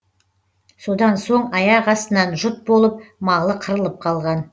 содан соң аяқастынан жұт болып малы қырылып қалған